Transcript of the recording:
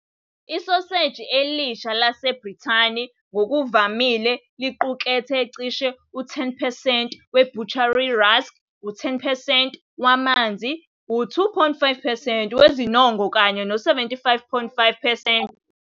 Isoseji elisha laseBrithani ngokuvamile liqukethe cishe u-10 percent we- butcher rusk, u-10 percent wamanzi, u-2.5 percent wezinongo, kanye no-77.5 percent wenyama.